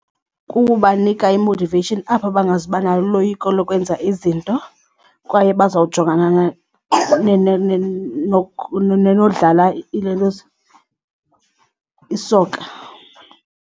Kukubanika i-motivation aba bangazuba naloyiko lokwenza izinto kwaye bazawujongana nodlala ilentuza i-soccer.